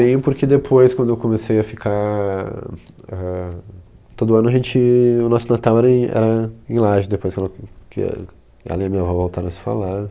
Eu tenho, porque depois, quando eu comecei a ficar... Éh. Todo ano a gente... O nosso Natal era em, era em Lages, depois que ela, que a, a minha avó voltaram a se falar.